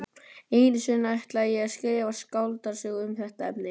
Einu sinni ætlaði ég að skrifa skáldsögu um þetta efni.